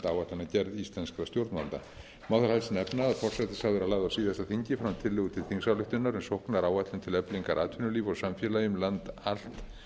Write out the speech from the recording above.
áætlunargerð íslenskra stjórnvalda má þar helst nefna að forsætisráðherra lagði á síðasta þingi fram tillögu til þingsályktunar um sóknaráætlun til eflingar atvinnulífi og samfélagi um land allt